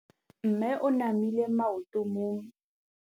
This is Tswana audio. Mme o namile maoto mo mmetseng ka fa gare ga lelapa le ditsala tsa gagwe.